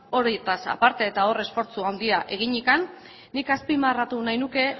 horietaz aparte eta hor esfortzu handia eginik nik azpimarratu nahi nuke